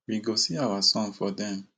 we go see our son for dem